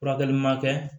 Furakɛli ma kɛ